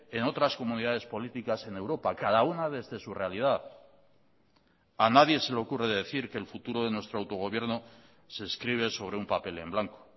en otras comunidades políticas en europa cada una desde su realidad a nadie se le ocurre decir que el futuro de nuestro autogobierno se escribe sobre un papel en blanco